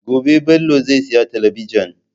Gobe Bello zai sayi talabijin.